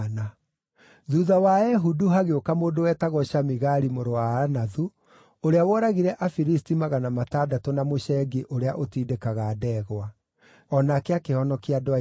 Thuutha wa Ehudu hagĩũka mũndũ wetagwo Shamigari mũrũ wa Anathu, ũrĩa woragire Afilisti magana matandatũ na mũcengi ũrĩa ũtindĩkaga ndegwa. O nake akĩhonokia andũ a Isiraeli.